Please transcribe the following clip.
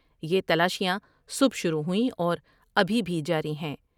یہ تلاشیاں صبح شروع ہوئیں اور ابھی بھی جاری ہیں ۔